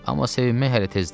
Amma sevinmək hələ tezdir.